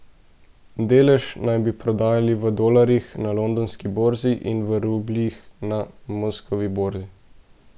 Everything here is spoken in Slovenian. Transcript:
Delež naj bi prodajali v dolarjih na londonski borzi in v rubljih na moskovski borzi.